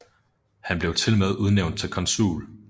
Han blev tilmed udnævnt til konsul